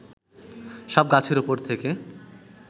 সব গাছের উপর থেকে